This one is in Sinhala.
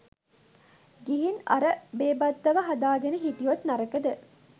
ගිහින් අර බේබද්දව හදාගෙන හිටියොත් නරකද?